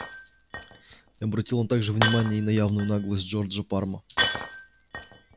не обратил он также внимания и на явную наглость джорджа парма